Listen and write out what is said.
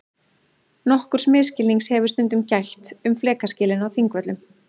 Nokkurs misskilnings hefur stundum gætt um flekaskilin á Þingvöllum.